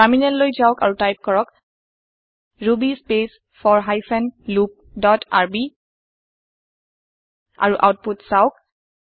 terminal লৈ যাওক আৰু টাইপ কৰক Ruby space for hyphen loop dot rb আৰু আওতপুত চাওঁক